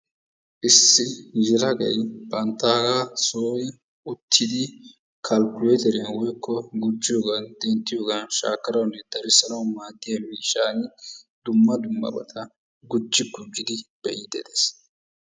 Issi yelagay banttaagaa sooni uttidi kalkkuleeteriya woykko gujjiyogaa, denttiyogaa, shaakkanawunne darissanawu maaddiya miishshan dumma dummabata gujji gujjidi be'iiddi des.